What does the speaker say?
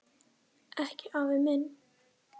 Ekki afi minn.